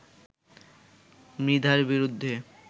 মৃধার বিরুদ্ধে